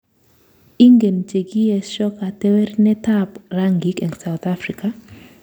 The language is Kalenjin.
Ingen chekiesho. katewernatetab rangik eng South Africa?